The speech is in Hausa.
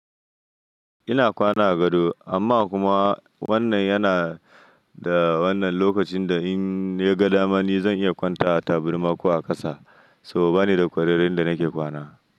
Ina kwana a gado amma kuma wannan yana da wannan lokacin da in nagadama ni zan iya kwanta a taburma ko a ƙasa so bani da ƙwarern inda nake kwana.